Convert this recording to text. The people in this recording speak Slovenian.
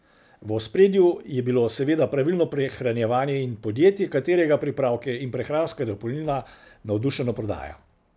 V ospredju je bilo seveda pravilno prehranjevanje in podjetje, katerega pripravke in prehranska dopolnila navdušeno prodaja.